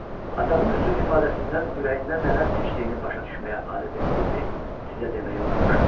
Atamın üzünün ifadəsindən ürəyindən nələr keçdiyini başa düşməyə adət etdiyimi sizə deməyi unutmuşam.